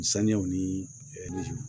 Saniyaw ni